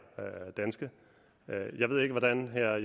danske jeg ved ikke hvordan herre